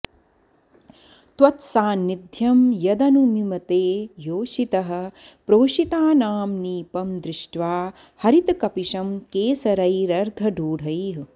त्वत्सान्निध्यं यदनुमिमते योषितः प्रोषितानां नीपं दृष्ट्वा हरितकपिशं केसरैरर्धरूढैः